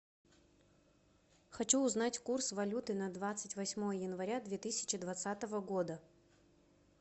хочу узнать курс валюты на двадцать восьмое января две тысячи двадцатого года